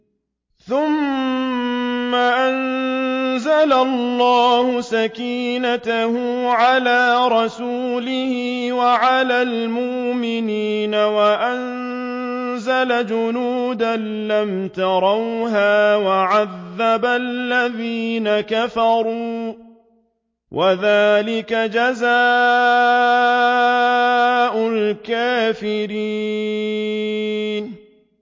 ثُمَّ أَنزَلَ اللَّهُ سَكِينَتَهُ عَلَىٰ رَسُولِهِ وَعَلَى الْمُؤْمِنِينَ وَأَنزَلَ جُنُودًا لَّمْ تَرَوْهَا وَعَذَّبَ الَّذِينَ كَفَرُوا ۚ وَذَٰلِكَ جَزَاءُ الْكَافِرِينَ